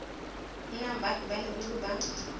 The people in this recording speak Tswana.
nnang baagi ba leruri ba